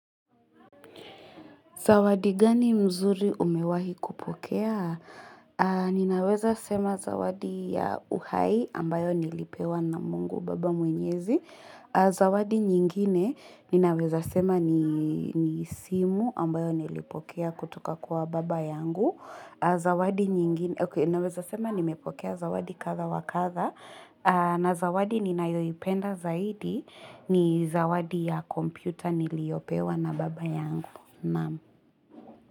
Zawadi gani mzuri umewahi kupokea? Ninaweza sema zawadi ya uhai ambayo nilipewa na mungu baba mwenyezi. Zawadi nyingine ninaweza sema ni simu ambayo nilipokea kutuka kuwa baba yangu. Zawadi nyingine, oke, ninaweza sema nimepokea zawadi kadha wakadha. Na zawadi ninayoipenda zaidi ni zawadi ya kompyuta niliopewa na baba yangu. Mam.